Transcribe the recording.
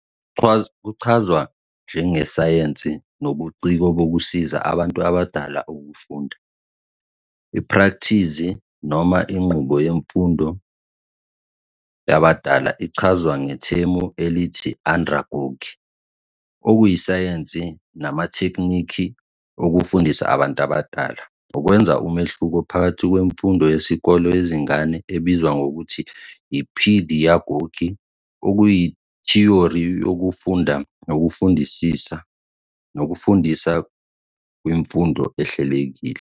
Kuchazwa njengesayense nobuciko bokusiza abantu abadala ukufunda D, iphrakthizi noma inqubo yemfundo yabadala ichazwa ngethemu elithi-andragogy, okuyisayense namathekniki okufundisa abantu abadala, ukwenza umehluko phakathi kwemfundo yesikole yezingane ebizwa ngokuthi yi-pedagogy, okuyithiyori yokufunda nokufundisa kwimfundo ehlelekile.